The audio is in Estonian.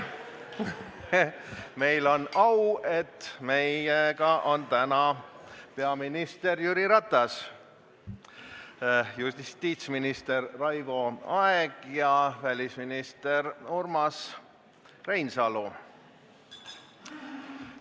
Meil on au, et meiega on täna peaminister Jüri Ratas, justiitsminister Raivo Aeg ja välisminister Urmas Reinsalu.